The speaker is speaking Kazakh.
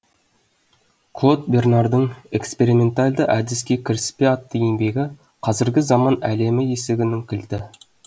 клод бернардың экспериментальды әдіске кіріспе атты еңбегі қазіргі заман әлемі есігінің кілті